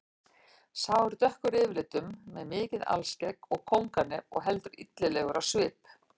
Sá er dökkur yfirlitum með mikið alskegg og kónganef og heldur illilegur á svip.